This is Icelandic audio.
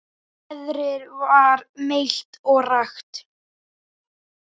Veðrið var milt og rakt.